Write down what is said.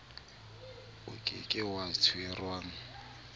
o ke ke wa tshwengwa